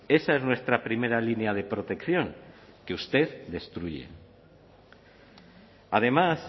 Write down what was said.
esa es nuestra primera línea de protección que usted destruye además